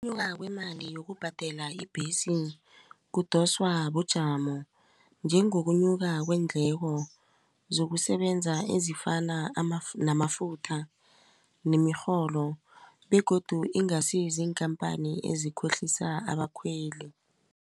Ukunyuka kwemali yokubhadela ibhesi kudoswa bujamo njengokunyuka kweendleko zokusebenza ezifana namafutha begodu ingasi ziinkhampani ezikhohlisa abakhweli.